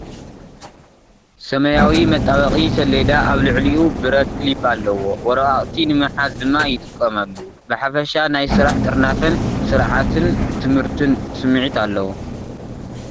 ሰማያዊ መጣበቒ ሰሌዳ ፣ ኣብ ልዕሊኡ ብረት ክሊፕ ኣለዎ፣ ወረቓቕቲ ንምሓዝ ድማ ይጥቀመሉ። ብሓፈሻ ናይ ስራሕ ጥርናፈን ስርዓትን ትምህርትን ስምዒት ኣለዎ።